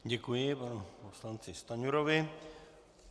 Děkuji panu poslanci Stanjurovi.